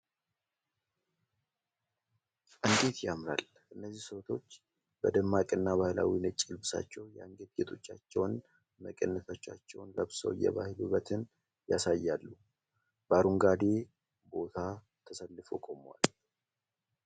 እንዴት ያምራል! እነዚህ ሴቶች በደማቅና ባህላዊ ነጭ ልብሳቸው! የአንገት ጌጦቻቸውና መቀነቶቻቸውን ለብሰው የባህል ውበትን ያሳያሉ፤ በአረንጋዴ ቦታ ተሰልፈው ቆመዋል !